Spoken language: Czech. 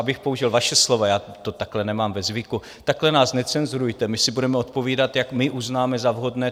Abych použil vaše slova, já to takhle nemám ve zvyku - takhle nás necenzurujte, my si budeme odpovídat, jak my uznáme za vhodné.